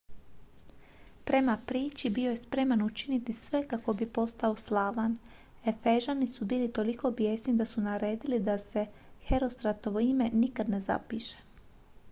prema priči bio je spreman učiniti sve kako bi postao slavan efežani su bili toliko bijesni da su naredili da se herostratovo ime nikad ne zapiše